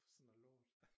For sådan noget lort